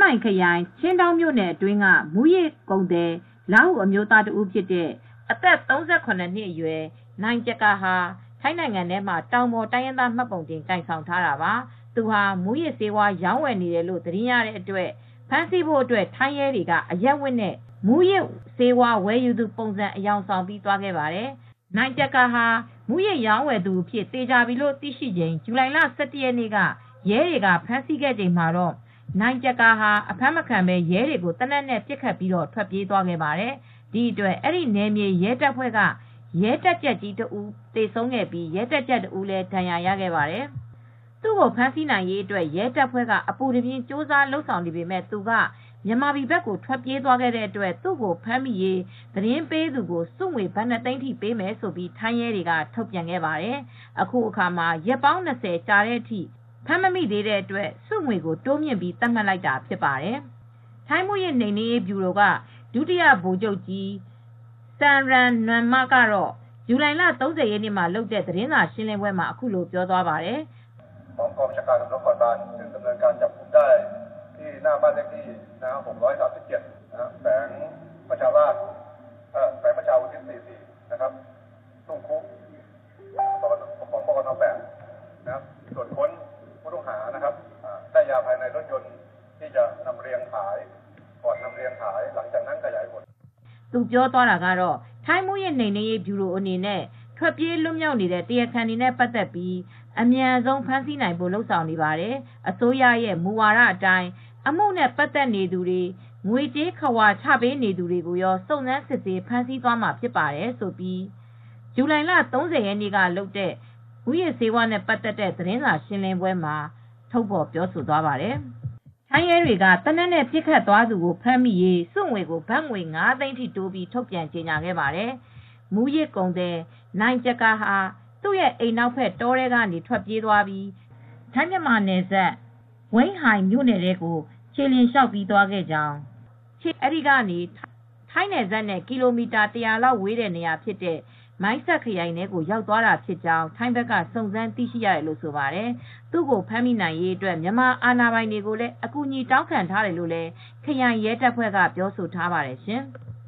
မိုင်ခရိုင်၊ ချင်းဒေါင်းမြို့နယ်အတွင်းကမူးယစ်ကုန်သည် လားဟူအမျိုးသား ၁ ဦးဖြစ်တဲ့ အသက် ၃၇နှစ်အရွယ် နိုင်ကျကာဟာ ထိုင်းနိုင်ငံထဲမှာတောင်ပေါ်တိုင်းရင်းသားမှတ်ပုံတင်ကိုင်ဆောင်ထားတာပါ။ သူဟာ မူးယစ်ဆေးဝါးရောင်းဝယ်နေတယ်လို့သတင်းရတဲ့အတွက် ဖမ်းဆီးဖို့ထိုင်းရဲတွေက အရပ်ဝတ်နဲ့ ဝယ်သူပုံစံအယောင်ဆောင်ပြီးသွားခဲ့တာပါ။ နိုင်ကျကာဟာ မူးယစ်ရောင်းဝယ်သူအဖြစ် သေချာပြီလို့သိရှိချိန် ဇူလိုင်လ ၁၁ရက်နေ့က ရဲတွေကဖမ်းဆီးခဲ့ချိန်မှာ အဖမ်းမခံဘဲ ရဲတွေကို သေနတ်နဲ့ ပစ်ခတ်ထွက်ပြေးသွားခဲ့ပါတယ်။ ဒီဖြစ်စဉ်ကြောင့် နယ်မြေ ရဲတပ်ဖွဲ့က ရဲတပ်ကြပ်ကြီး ၁ ဦး သေဆုံးပြီး ရဲတပ်ကြပ် ၁ ဦး ဒဏ်ရာရခဲ့ပါတယ်။ သူ့ကိုဖမ်းဆီးနိုင်ရေးရဲတပ်ဖွဲ့ကအပူတပြင်းကြိုးစားလုပ်ဆောင်နေပေမယ့် သူက မြန်မာပြည်ဘက်ကို ထွက်ပြေးသွားတဲ့အတွက် ဖမ်းမိရေး သတင်းပေးသူကို ဆုငွေ ဘတ် ၂သိန်းပေးမယ်လို့ ထိုင်းရဲတွေက ထုတ်ပြန်ခဲ့ပါတယ်။ အခုအခါ ရက်ပေါင်း ၂၀ လောက်ကြာတဲ့အထိ ဖမ်းမမိတဲ့အတွက်ဆုငွေကို တိုးမြှင့်သတ်မှတ်လိုက်တာဖြစ်ပါတယ် ။ ထိုင်းမူးယစ်နှိမ်နင်းရေး ဗျူရို ဒုတိယဗိုလ်ချုပ် Pol. Lt. Gen. Samran Nuanma ကတော့ ဇူလိုင် ၃၀ရက်နေ့မှာလုပ်တဲ့သတင်းစာရှင်းလင်းပွဲမှာအခုလိုပြောသွားပါတယ်။ "ထိုင်းမူးယစ် နိမ်နင်းရေး ဗျူရို အနေနဲ့ ထွက်ပြေး လွတ်မြောက်နေတဲ့ တရားခံ တွေနဲ့ပါတ်သက်ပြီး အမြန်ဆုံး ဖမ်းဆီးနိုင်ဖို့လုပ်ဆောင်နေပါတယ်။ အစိုးရရဲ့ မူဝါဒ အတိုင်း အမှုနဲ့ ပါတ်သက်နေသူတွေ ငွေ ကြေး ခဝါချ ပေးနေသူတွေကိုရော စုံစမ်းစစ်ဆေးဖမ်းဆီးမှာဖြစ်ပါတယ်" ထိုင်းရဲတွေက သေနတ်နဲ့ပစ်ခတ်သွားသူကို ဖမ်းမိရေး ဆုငွေ ကို ဘတ်ငွေ ၅သိန်းထိတိုးပြီး ထုတ်ပြန်ကြေညာခဲ့ပါတယ်။ မူးယစ်ကုန်သည် နိုင်ကျကာဟာ သူရဲ့ အိမ်နောက်ဘက် တောထဲကနေ ထွက်ပြေးပြီး ထိုင်းမြန်မာနယ်စပ် ဝိန်းဟိုင်မြို့နယ်ထဲကို ခြေလျှင်လမ်းလျောက်သွားခဲ့ကြောင်း အဲဒီကနေ ထိုင်းနယ်စပ်နဲ့ကီလိုမီတာ ၁၀၀ လောက်ရှိတဲ့နေရာဖြစ်တဲ့ မိုင်းဆတ်ခရိုင်ထဲကို ရောက်သွားတာဖြစ်ကြောင်း ထိုင်းဘက်ကစုံစမ်းသိရှိရတယ်လို့ဆိုပါတယ် ။ သူကိုဖမ်းမိရေးအတွက်မြန်မာအာဏာပိုင်တွေကိုလည်း အကူအညီတောင်းထားတယ်လို့ ခရိုင်ရဲတပ်ဖွဲ့ကပြောဆိုထားပါတယ်ရှင်။